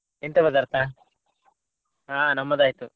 ಎಂತ ಪದಾರ್ಥ? ಆ ನಮ್ಮದಾಯ್ತು.